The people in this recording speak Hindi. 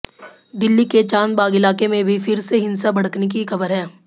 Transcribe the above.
दिल्ली के चाँदबाग़ इलाक़े में भी फिर से हिंसा भड़कने की ख़बर है